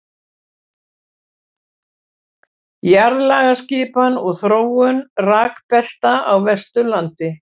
jarðlagaskipan og þróun rekbelta á vesturlandi